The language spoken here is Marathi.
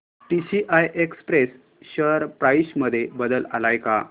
टीसीआय एक्सप्रेस शेअर प्राइस मध्ये बदल आलाय का